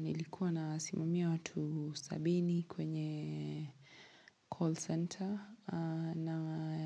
Nilikuwa nasimamia watu sabini kwenye call center.